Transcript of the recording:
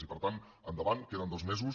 i per tant endavant queden dos mesos